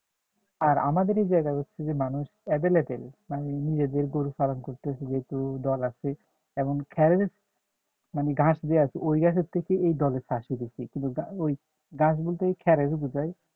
আর আমাদের এই জায়গায় হচ্ছে যে মানুষ available মানে নিজেদের গরু পালন করতেছে যেহেতু দল আছে তেমন মানে ঘাস যে আছে ওই ঘাসের থেকে এই দলের চাষ হয় বেশি কিন্তু ওই ঘাস বলতে খ্যেড়ে রে বোঝায়